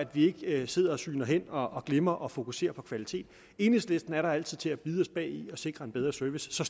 vi ikke sidder og sygner hen og og glemmer at fokusere på kvalitet enhedslisten er der altid til at bide os bagi og sikre en bedre service så